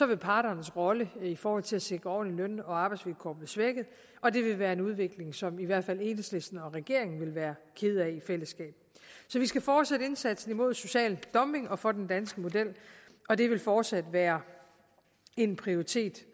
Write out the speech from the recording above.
vil parternes rolle i forhold til at sikre ordentlige løn og arbejdsvilkår blive svækket og det vil være en udvikling som i hvert fald enhedslisten og regeringen vil være kede af i fællesskab så vi skal fortsætte indsatsen mod social dumping og for den danske model og det vil fortsat være en prioritet